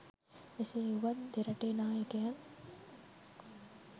එසේ වුවත් දෙරටේ නායකයන්